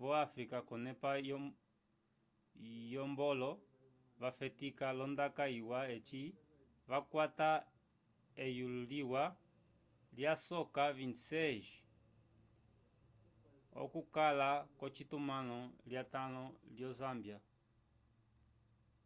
vo áfrica k'onepa yombwlo vafetika l'ondaka iwa eci vakwata eyulo liwa lyasoka 26 - 00 okukala k'ocitumãlo lyatãlo lyo zâmbia